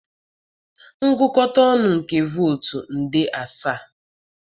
ngụkọta nke votu nde asaa?